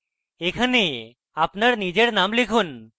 এখানে আপনার নিজের name লিখুন